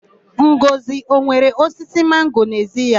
Ngọzị o nwere osisi mango n'ezi ya?